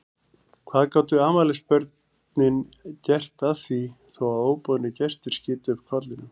Hvað gátu afmælisbörnin gert að því þó að óboðnir gestir skytu upp kollinum?